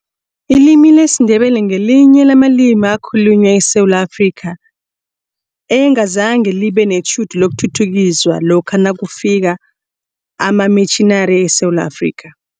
Ilimi lesiNdebele ngelinye lamalimi akhulunywa eSewula Afrika, engazange libe netjhudu lokuthuthukiswa lokha nakufika amamitjhinari eSewula Afrika.